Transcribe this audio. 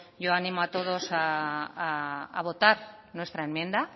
yo animo a todos a votar nuestra enmienda